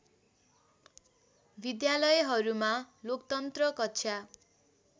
विद्यालयहरूमा लोकतन्त्र कक्षा